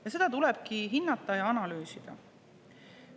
Ja seda tulebki hinnata ja analüüsida.